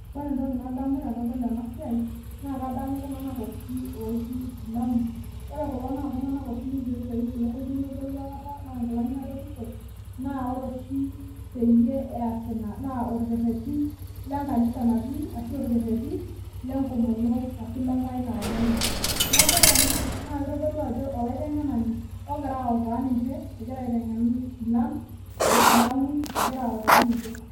Ore etoki nadamu tenadol ena siai, naa kadamu iltunganak oshi ooji isilamu. Ore kulo naa iltunganak oshi ninche oitoip ilukuny nebolu aikata naa inkilani adoru ishop, naa ore oshi peyie eas ina naa orkereti lekanisa natii ashu, orkereti lekomono ashu, lenkai naomon ninche. Neaku ore ena naa kitodolu ajo olaitengenani ogiraa autaa ninche egira aitengena isilan, oo isilamu egira autaa ninche.